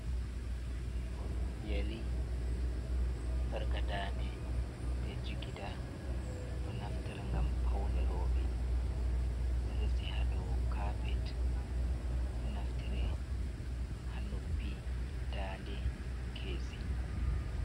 Yari, sarka daade be jigida, do naftira gam paunerobe do resi hado carpet, do naftira hannuppi, daade nkeesi.